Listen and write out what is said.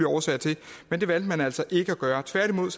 årsager til men det valgte man altså ikke at gøre tværtimod